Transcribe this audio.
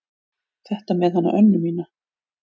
Þetta með hana Önnu mína.